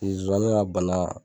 ka bana